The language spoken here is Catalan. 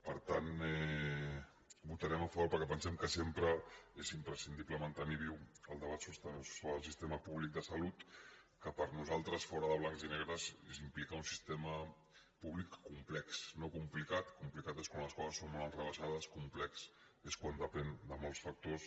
per tant votarem a favor perquè pensem que sempre és imprescindible mantenir viu el debat sobre el sistema públic de salut que per nosaltres fora de blancs i negres implica un sistema públic complex no complicat complicat és quan les coses són molt enrevessades complex és quan depèn de molts factors